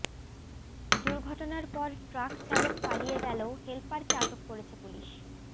দুর্ঘটনার পর ট্রাক চালক পালিয়ে গেলেও হেলপারকে আটক করেছে পুলিশ